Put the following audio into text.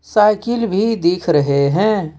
Cycle भी दिख रहे हैं।